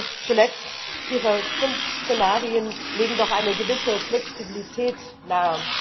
Und zuletzt Ihre fünf Szenarien legen doch eine gewisse Flexibilität nahe.